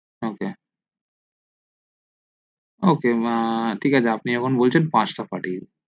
ok ok ঠিক আছে আপনি যখন বলছেন পাঁচটা পাঠিয়ে দিন